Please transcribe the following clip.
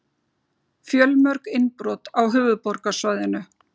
Fjölmörg innbrot á höfuðborgarsvæðinu